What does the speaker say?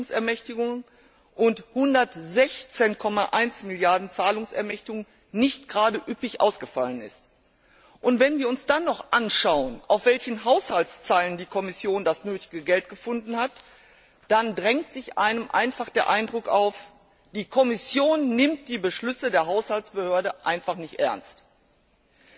Euro Verpflichtungsermächtigungen und 116,1 Mrd. Euro Zahlungsermächtigungen nicht gerade üppig ausgefallen ist. Wenn wir uns dann noch anschauen, auf welchen Haushaltszeilen die Kommission das nötige Geld gefunden hat, dann drängt sich einem einfach der Eindruck auf, dass die Kommission die Beschlüsse der Haushaltsbehörde einfach nicht ernst nimmt.